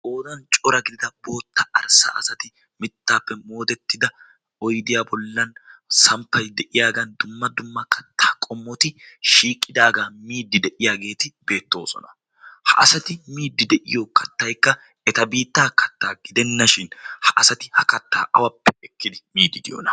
qoodan cora gidida bootta arssa asati mittaappe moodettida oydiyaa bollan samppay de'iyaagan dumma dumma kattaa qommoti shiiqqidaagaa miidi de'iyaageeti beettoosona. ha asati miidi de'iyo katta'kka eta biittaa kattaa gidennashin ha asati ha kattaa awappe ekkidi miidi diyoona?